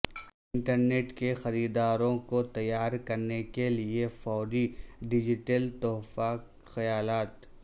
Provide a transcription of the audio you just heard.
internet کے خریداروں کو تیار کرنے کے لئے فوری ڈیجیٹل تحفہ خیالات